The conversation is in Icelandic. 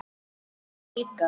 Ég líka.